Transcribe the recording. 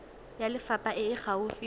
ya lefapha e e gaufi